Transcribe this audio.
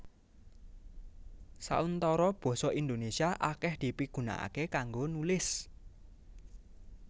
Sauntara basa Indonésia akèh dipigunakaké kanggo nulis